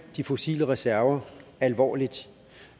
de fossile reserver alvorligt